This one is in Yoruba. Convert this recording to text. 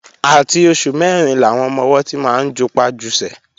Àti oṣù mẹ́rin làwọn ọmọ-ọwọ́ ti máa ń jupá jusẹ̀